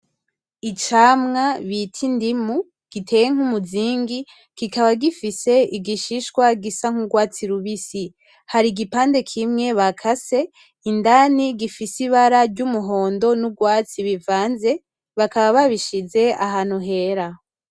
Icamwa bita indimu giteye nk'umuzingi kikaba gifise igishishwa gisa nk'urwatsi rubisi. Har'igipande kimwe bakase indani gifise ibara ry'umuhondo n'urwatsi bivanze bakaba babishize ahantu hera.